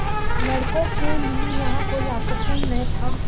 लड़कों के लिए यहाँ कोई आकर्षण न था